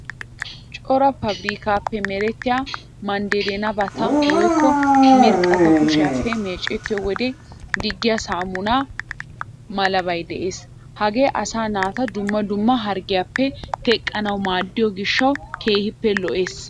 Cora paabirikkaappe merettiya maaddennabata woykko miiriqata kushiyappe meecettiyo wode diggiya saamuna malabay de'ees. Hagee asaa naata dumma dumma harggiyappe teqqanawu maaddiyo gishshawu keehippe lo"ees.